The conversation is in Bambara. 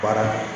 Baara